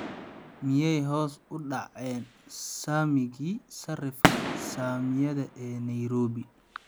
Miyay hoos u dhaceen saamigii sarifka saamiyada ee nairobi?